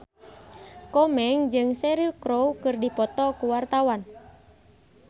Komeng jeung Cheryl Crow keur dipoto ku wartawan